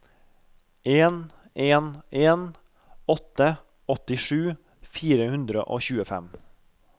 en en en åtte åttisju fire hundre og tjuefem